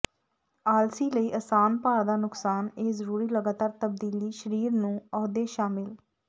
ਆਲਸੀ ਲਈ ਆਸਾਨ ਭਾਰ ਦਾ ਨੁਕਸਾਨ ਇਹ ਜ਼ਰੂਰੀ ਲਗਾਤਾਰ ਤਬਦੀਲੀ ਸਰੀਰ ਨੂੰ ਅਹੁਦੇ ਸ਼ਾਮਲ